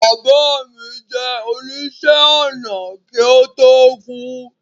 Bàbá mi jẹ́ oníṣẹ̀-ọnà kí ó tó kú